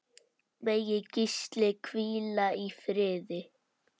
Megi Gísli hvíla í friði.